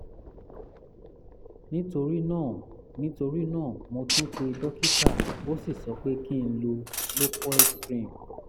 nítorí náà nítorí náà mo tún pe dókítà ó sì sọ pé kí n lo locoid cream